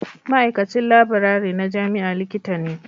Ma'aikacin laburare na jami'a Likita ne